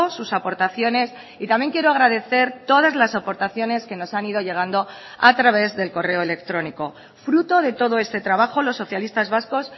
sus aportaciones y también quiero agradecer todas las aportaciones que nos han ido llegando a través del correo electrónico fruto de todo este trabajo los socialistas vascos